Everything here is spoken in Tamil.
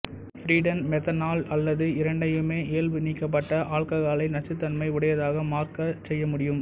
பிரிடீன் மெத்தனால் அல்லது இரண்டையுமே இயல்பு நீக்கப்பட்ட ஆல்ககாலை நச்சுத்தன்மை உடையதாக மாற்ற சேர்க்க முடியும்